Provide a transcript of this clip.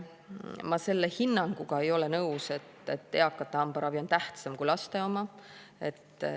Ma selle hinnanguga ei ole nõus, et eakate hambaravi on tähtsam kui laste oma.